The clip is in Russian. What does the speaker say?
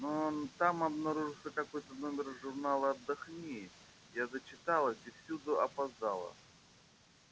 но там обнаружился какой-то номер журнала отдохни я зачиталась и всюду опоздала